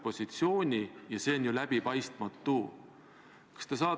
Vabandust, jah, Indrek Saar saab võimaluse täpsustavaks küsimuseks, palun!